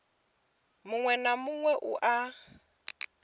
muṅwe na muṅwe u na